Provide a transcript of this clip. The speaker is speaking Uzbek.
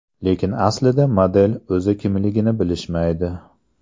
Lekin aslida model o‘zi kimligini bilishmaydi.